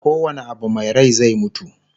ko wane Abu Mai Rai zai mutu